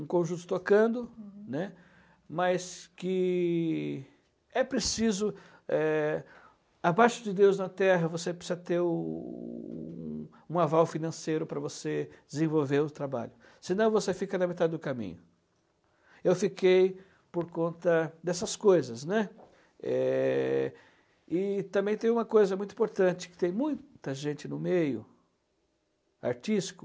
um conjunto tocando, uhum, né, mas que é preciso é, abaixo de Deus na terra você precisa ter o um aval financeiro para você desenvolver o trabalho senão você fica na metade do caminho eu fiquei por conta dessas coisas, né, e também tem uma coisa muito importante que tem muita gente no meio artístico